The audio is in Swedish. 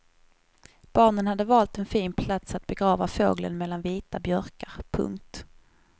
Barnen hade valt en fin plats att begrava fågeln mellan vita björkar. punkt